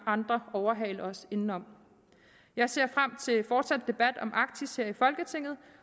andre overhale os indenom jeg ser frem til en fortsat debat om arktis her i folketinget